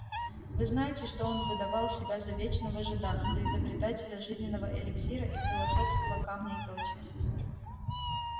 вы знаете что он выдавал себя за вечного жида за изобретателя жизненного эликсира и философского камня и прочая